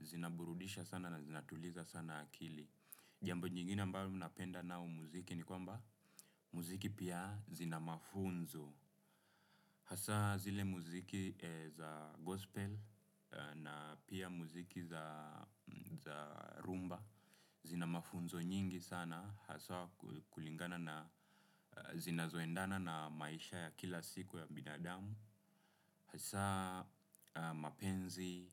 zinaburudisha sana na zinatuliza sana akili. Jambo nyingine mbalo napenda nao muziki ni kwamba muziki pia zina mafunzo. Hasa zile muziki za gospel na pia muziki za rhumba zina mafunzo nyingi sana. Hasa kulingana na zina zoendana na maisha ya kila siku ya bidadamu. Hasa mapenzi